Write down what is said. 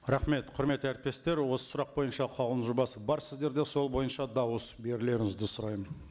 рахмет құрметті әріптестер осы сұрақ бойынша қаулының жобасы бар сіздерде сол бойынша дауыс берулеріңізді сұраймын